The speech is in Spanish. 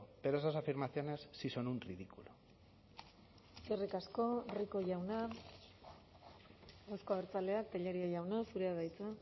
pero esas afirmaciones sí son un ridículo eskerrik asko rico jauna euzko abertzaleak tellería jauna zurea da hitza